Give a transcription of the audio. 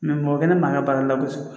mɔgɔ kelen man ka baara la ko